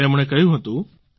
તેમણે કહ્યું હતું